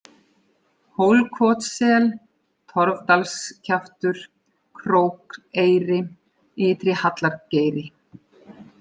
Hólkotssel, Torfdalskjaftur, Krókeyri, Ytri-Hallargeiri